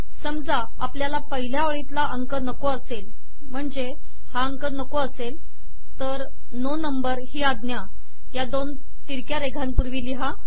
समजा आपल्याला पहिल्या ओळीतला अंक नको असेल म्हणजे हा अंक नको असेल तर नो नंबर ही आज्ञा या दोन तिरक्या रेघांपूर्वी लिहा